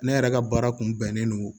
Ne yɛrɛ ka baara kun bɛnnen don